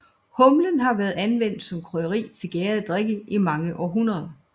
Humlen har været anvendt som krydderi til gærede drikke i mange århundreder